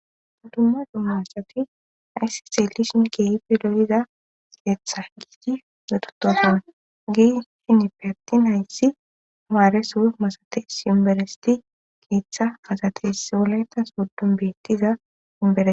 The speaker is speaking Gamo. dumma dumma asati hayssan xelishin keehipfe loyiza keeththa giigi getutofun gi shinippe attin hayssi amaare su masates imberesti keeththa masates wolaytas oddun beettiza wombere